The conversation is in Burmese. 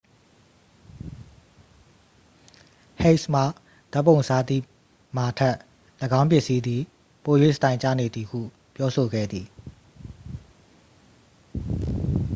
ဟိတ်စ်မှ ဓာတ်ပုံစားသည့် မာထက် ၎င်းပစ္စည်းသည် ပို၍ စတိုင်ကျနေသည်ဟု ပြောဆိုခဲ့သည်